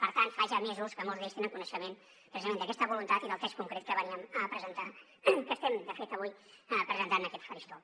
per tant ja fa mesos que molts d’ells tenen coneixement precisament d’aquesta voluntat i del text concret que veníem a presentar que estem de fet avui presentant en aquest faristol